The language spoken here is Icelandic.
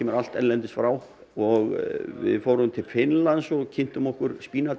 allt erlendis frá og við fórum til Finnlands og kynntum okkur